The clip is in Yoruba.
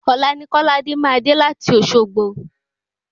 Òla ni kóláde máa dé láti Òsogbo